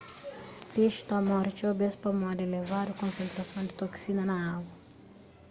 pexi ta móre txeu bês pamodi elevadu konsentrason di toksina na agu